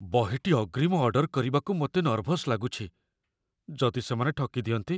ବହିଟି ଅଗ୍ରିମ ଅର୍ଡର କରିବାକୁ ମୋତେ ନର୍ଭସ୍ ଲାଗୁଛି, ଯଦି ସେମାନେ ଠକି ଦିଅନ୍ତି?